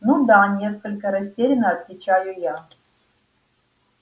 ну да несколько растеряно отвечаю я